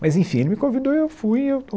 Mas, enfim, ele me convidou e eu fui e eu